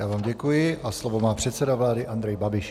Já vám děkuji a slovo má předseda vlády Andrej Babiš.